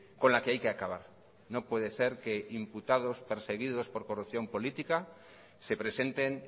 con la que hay que acabar no puede ser que imputados perseguidos por corrupción política se presenten